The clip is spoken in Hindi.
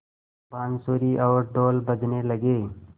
बाँसुरी और ढ़ोल बजने लगे